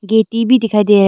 गिट्टी भी दिखाई दे रहा है।